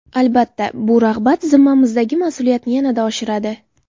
Albatta bu rag‘bat zimmamizdagi mas’uliyatni yanada oshiradi.